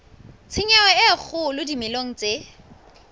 tshenyo e kgolo dimeleng tse